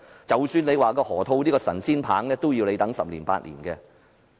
即使有河套區這個神仙棒，也要等十年八載才見成效。